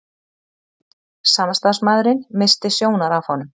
Samstarfsmaðurinn missti sjónar af honum.